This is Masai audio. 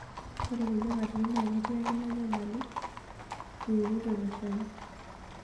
Ore kulie katitin naa ketii ake ina nyamali inakata iwokito ilo shani.